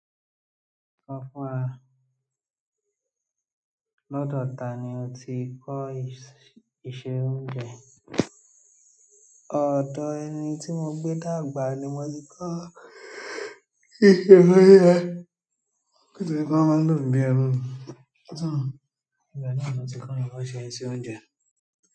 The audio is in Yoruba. Sọ fún wa, lọ́dọ̀ ta ni o ti kọ́ iṣẹ́ oúnjẹ, ọ̀dọ̀ ẹni tí mo gbé dàgbà ni mo ti kọ́, iṣẹ́ oúnjẹ, bó tiẹ̀ jẹ́ pé wọ́n máa ń lò mi bí ẹrú ni sọ ibẹ̀ náà wọ́n ti kọ́ mi bon ṣe ń ṣe oúnjẹ.